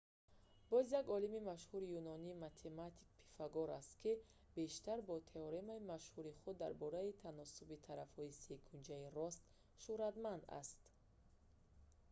боз як олими машҳури юнонӣ математик пифагор аст ки бештар бо теоремаи машҳури худ дар бораи таносуби тарафҳои секунҷаи рост шуҳратманд аст